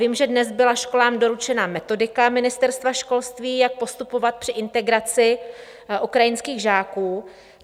Vím, že dnes byla školám doručena metodika ministerstva školství, jak postupovat při integraci ukrajinských žáků.